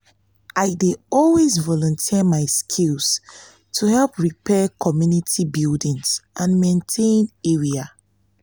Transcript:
i dey always volunteer my skills to help repair community buildings and maintain area.